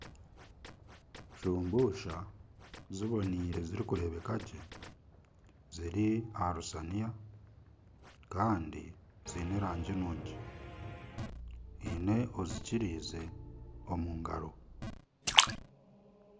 Shumbusha zibonaire zirikureebuka gye ziri aha rusaaniya kandi ziine erangi nungi ahaine ozikyirize omu ngaro.